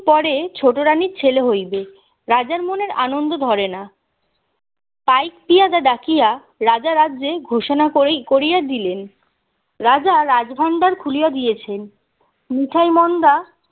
পরে ছোটরানির ছেলে হইবে রাজার মনের আনন্দ ধরে না পাইক পেয়াদা ডাকিয়া রাজা রাজ্যে ঘোষণা করি করিয়া দিলেন রাজা রাজ ভাণ্ডার খুলিয়া দিয়েছেন মিঠাই মন্ডা